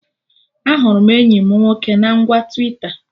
Ahụrụ m enyi mụ nwoke na ngwa Twita